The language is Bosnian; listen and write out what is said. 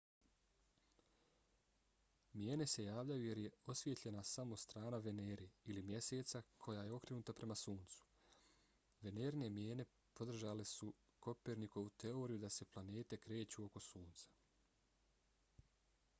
mijene se javljaju jer je osvijetljena samo strana venere ili mjeseca koja je okrenuta prema suncu. venerine mijene podržale su kopernikovu teoriju da se planete kreću oko sunca